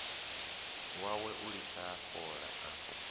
wawe u litsha fola a